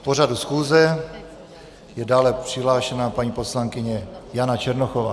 K pořadu schůze je dále přihlášena paní poslankyně Jana Černochová.